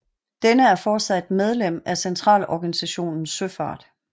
Denne er fortsat medlem af Centralorganisationen Søfart